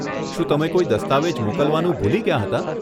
શું તમે કોઈ દસ્તાવેજ મોકલવાનું ભૂલી ગયાં હતાં?